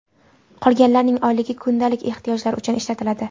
Qolganlarning oyligi kundalik ehtiyojlar uchun ishlatiladi.